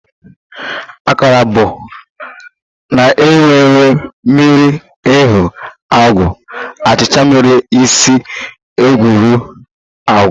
Akara bụ a na-ewu ewu miri eghe agwa achicha mere si egweri agwa